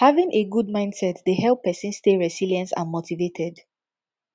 having a good mindset dey help pesin stay resilience and motivated